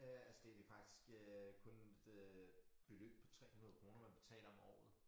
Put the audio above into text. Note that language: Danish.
Øh altså det det faktisk øh kun det øh beløb på 300 kroner man betaler om året